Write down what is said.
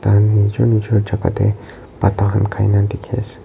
An nejor nejor jaka tey pata khan khaina dekhe ase.